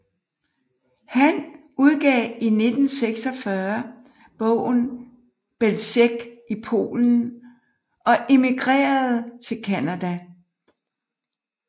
Han udgav i 1946 bogen Belzec i Polen og emigrerede til Canada